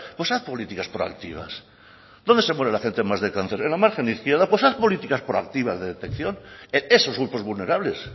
pues haz política proactivas dónde se muere más de cáncer en la margen izquierda pues haz políticas proactivas de detección en esos grupos vulnerables